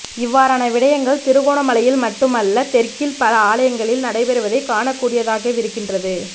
இவ்வாறான விடயங்கள் திருகோணமலையில் மட்டும் அல்ல தெற்கில் பல ஆலயங்களில் நடைபெறுவதை காணக்கூடியதாகவிருக்கின்றது